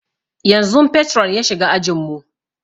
Yanzun patron ya shiga ajin mu